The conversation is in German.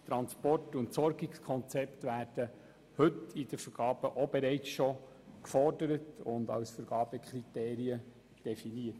Transport- und Entsorgungskonzepte werden schon heute bei den Vergaben gefordert und als Vergabekriterien definiert.